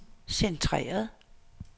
centreret